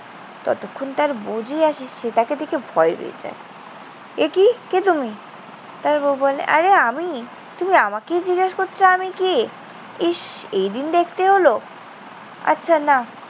ততক্ষণ তার বউ যেই আসে, সে তাকে দেখে ভয় পেয়ে যায়। একি? কে তুমি? তার বউ বলে, আরে আমি। তুমি আমাকেই জিজ্ঞেস করছ আমি কে? ইস, এইদিন দেখতে হলো। আচ্ছা নাও।